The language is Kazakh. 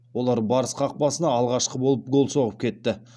олар барыс қақпасына алғашқы болып гол соғып кетті